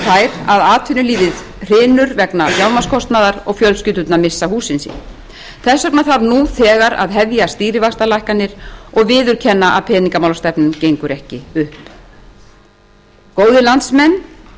þær að atvinnulífið hrynur vegna fjármagnskostnaðar og fjölskyldurnar missa húsin sín þess vegna þarf nú þegar að hefja stýrivaxtalækkanir og viðurkenna að peningamálastefnan gengur ekki upp góðir landsmenn